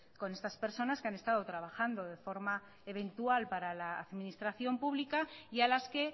con estas personas que han estado trabajando de forma eventual para la administración pública y a las que